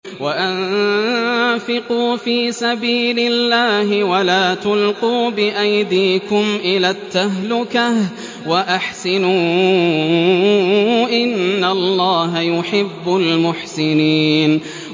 وَأَنفِقُوا فِي سَبِيلِ اللَّهِ وَلَا تُلْقُوا بِأَيْدِيكُمْ إِلَى التَّهْلُكَةِ ۛ وَأَحْسِنُوا ۛ إِنَّ اللَّهَ يُحِبُّ الْمُحْسِنِينَ